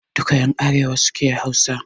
Duka ƴan arewa suke Hausa